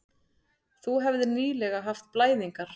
Þú hefðir nýlega haft blæðingar.